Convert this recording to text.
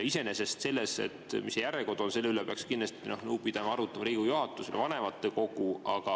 Iseenesest selle üle, mis see järjekord on, peaks kindlasti nõu pidama ja arutama Riigikogu juhatus ja vanematekogu.